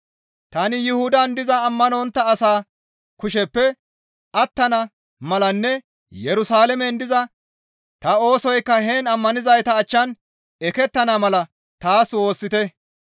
Tani Yuhudan diza ammanontta asaa kusheppe attana malanne Yerusalaamen diza ta oosoykka heen ammanizayta achchan ekettana mala taas woossite.